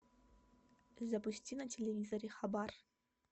запусти на телевизоре хабар